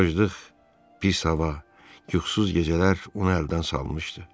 Acıqlıq, pis hava, yuxusuz gecələr onu əldən salmışdı.